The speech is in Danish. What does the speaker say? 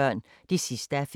DR P1